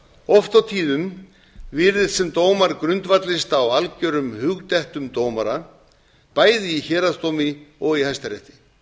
oft og tíðum virðist sem dómar grundvallist á algerum hugdettum dómara bæði í héraðsdómi og í hæstarétti